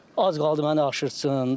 Az qaldı məni aşırtsın.